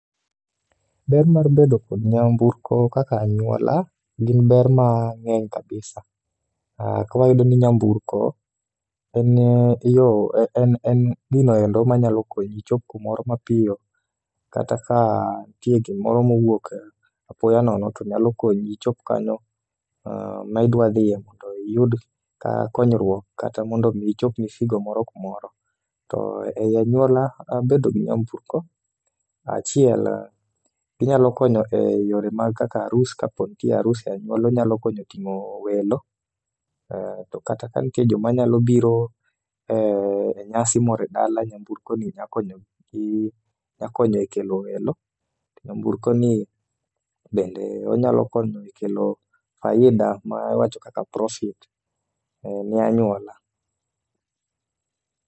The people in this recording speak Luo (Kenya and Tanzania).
Ber mar bedo kod nyamburko kaka anyuola, gin ber mang'eny kabisa kawayudo ni nyamburko en gino endo manyalo konyi ichop kumoro mapiyo, kata ka ntie gimoro mowuok apoya nono, to nyalo konyi ichop kanyo, kama idwa dhiye no mondo iyud ka konyruok, kata mondo omi ichop moro kumoro. To ei anyuola, bedo gi nyamburko, achiel, ginyalo konyo e yore mag kaka arus, kapo ni nitie arus e anyuola, onyalo konyo ting'o welo, to kata ka nitie joma nyalo biro e nyasi moro e dala, nyamburko nyakonyo e kelo welo. Nyamburkoni bende, onyalo konyo e kelo faida ma wawach kaka profit ne anyuola.